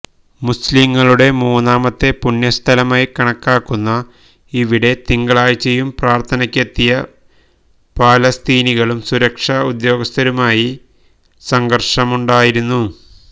മുസ്ലിംകളുടെ മൂന്നാമത്തെ പുണ്യസ്ഥലമായി കണക്കാക്കുന്ന ഇവിടെ തിങ്കളാഴ്ചയും പ്രാര്ഥനക്കെത്തിയ ഫലസ്തീനികളും സുരക്ഷാ ഉദ്യോഗസ്ഥരുമായി സംഘര്ഷമുണ്ടായിരുന്നു